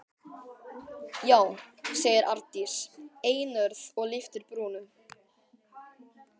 Já, segir Arndís einörð og lyftir brúnum.